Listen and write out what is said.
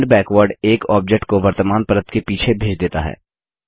send backward एक object को वर्तमान परत के पीछे भेज देता है